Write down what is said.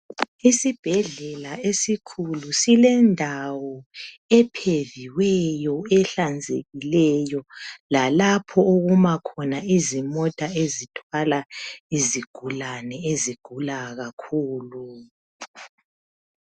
Isibhedlela esikhulu silendawo epheviweyo ehlanzekileyo lalapho okuma khona izimota ezithwala izigulane ezigula kakhulu.